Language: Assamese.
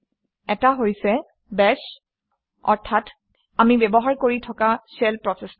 এটা হৈছে বাশ অৰ্থাৎ আমি ব্যৱহাৰ কৰি থকা শ্বেল প্ৰচেচটো